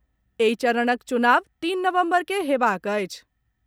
एहि चरणक चुनाव तीन नवम्बर के हेबाक अछि।